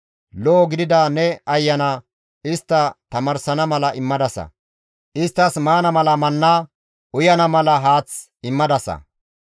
Lo7o gidida ne Ayana istta tamaarsana mala immadasa; isttas maana mala manna, uyana mala haath immadasa.